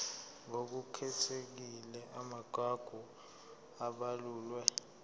ngokukhethekile amagugu abalulwe